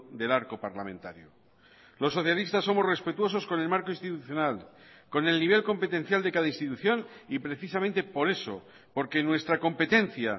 del arco parlamentario los socialistas somos respetuosos con el marco institucional con el nivel competencial de cada institución y precisamente por eso porque nuestra competencia